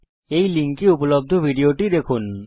এই লিঙ্কে উপলব্ধ ভিডিওটি দেখুন